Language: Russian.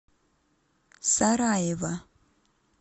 сараево